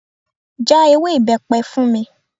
Já ewé ibepe fún mi.